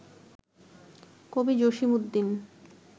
কবি জসীমউদ্দীন